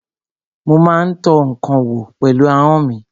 Mo má ń tọ́ ǹkan wò pẹ̀lú ahọ́n mi.